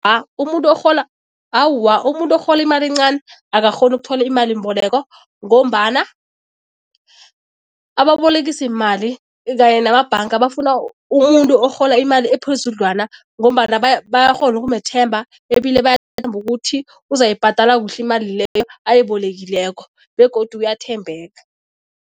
Umuntu orhola, awa, umuntu orhola imali encani akakghoni ukuthola imalimboleko ngombana ababolekisimali kanye namabhanga bafuna umuntu orhola imali ephezudlwana ngombana bayakghona ukumethemba ebile bayathemba ukuthi uzayibhadala kuhle imali leyo ayibolekileko begodu uyathembeka.